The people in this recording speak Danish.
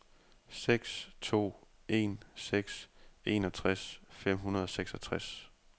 seks to en seks enogtres fem hundrede og seksogtres